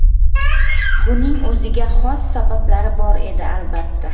Buning o‘ziga xos sabablari bor edi, albatta.